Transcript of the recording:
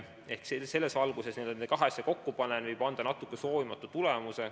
Selles valguses võib nende kahe asja kokkupanemine anda natuke soovimatu tulemuse.